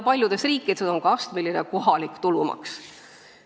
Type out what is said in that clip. Paljudes riikides on ka astmeline kohalik tulumaks.